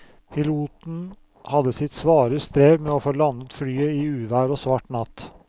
Piloten hadde sitt svare strev med å få landet flyet i uvær og svart natt.